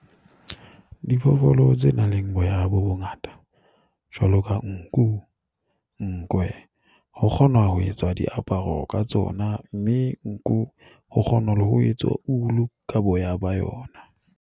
Diphoofolo tse nang le boya bo bongata jwalo ka nku, nkwe ho kgonwa ho etsa diaparo ka tsona. Mme nku ho kgonwa ho etswa ulu ka boya ba tsona.